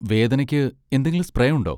വേദനയ്ക്ക് എന്തെങ്കിലും സ്പ്രേ ഉണ്ടോ?